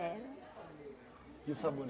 E o sabonete?